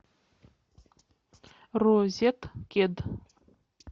розеткед